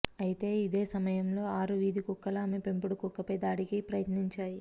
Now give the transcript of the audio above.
అయితే ఇదే సమయంలో ఆరు వీధి కుక్కలు ఆమె పెంపుడు కుక్కపై దాడికి యత్నించాయి